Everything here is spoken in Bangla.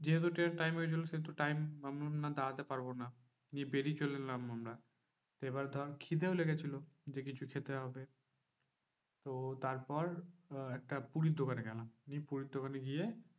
যেহেতু ট্রেনের time হয়ে গেছিলো সেহেতু time আমি বললাম দাঁড়াতে পারবো না। দিয়ে বেরিয়ে চলে এলাম আমরা। এবার ধর খিদেও লেগেছিলো যে কিছু খেতে হবে। তো তারপর আহ একটা পুরীর দোকানে গেলাম, নিয়ে পুরীর দোকানে গিয়ে